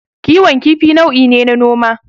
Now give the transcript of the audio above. Kiwon kifi nau'i ne na noma.